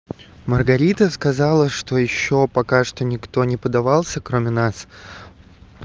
маргарита сказала что ещё пока что никто не поддавался кроме нас